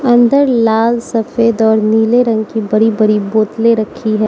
अंदर लाल सफेद और नीले रंग की बरी बरी बोतलें रखी है।